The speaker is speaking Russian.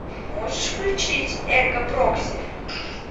можешь включить эрго прокси